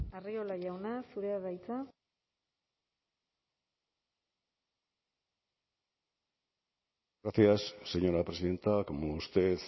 barrio jauna arriola jauna zurea da hitza gracias señora presidenta como usted